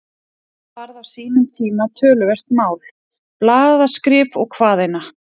Þetta varð á sínum tíma töluvert mál, blaðaskrif og hvað eina.